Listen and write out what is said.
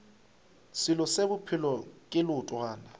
selo se bophelo ke leotwana